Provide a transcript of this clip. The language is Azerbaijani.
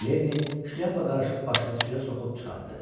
Lenni şlyapa qarışıq başını suya soxub çıxartdı.